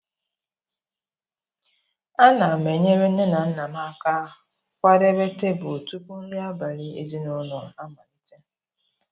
Ana m enyere nne na nna m aka kwadebe tebụl tupu nri abalị ezinụlọ amalite.